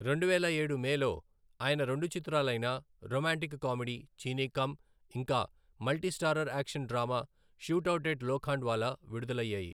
రెండువేల ఏడు మేలో, ఆయన రెండు చిత్రాలైన రొమాంటిక్ కామెడీ చీనీ కమ్ ఇంకా multi starrer action drama shootout at Lokhandwala విడుదలయ్యాయి.